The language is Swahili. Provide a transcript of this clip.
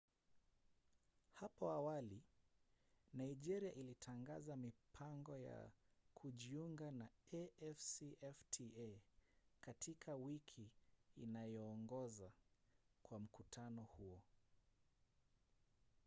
hapo awali nigeria ilitangaza mipango ya kujiunga na afcfta katika wiki inayoongoza kwa mkutano huo